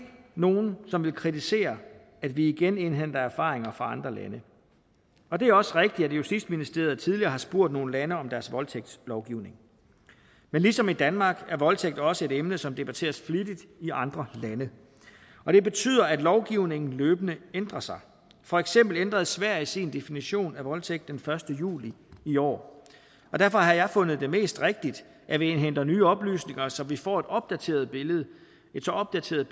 nogle som vil kritisere at vi igen indhenter erfaringer fra andre lande og det er også rigtigt at justitsministeriet tidligere har spurgt nogle lande om deres voldtægtslovgivning men ligesom i danmark er voldtægt også et emne som debatteres flittigt i andre lande og det betyder at lovgivningen løbende ændrer sig for eksempel ændrede sverige sin definition af voldtægt den første juli i år og derfor har jeg fundet det mest rigtigt at vi indhenter nye oplysninger så vi får et opdateret billede et så opdateret